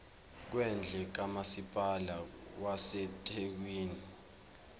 kwendle kamasipala wasethekwini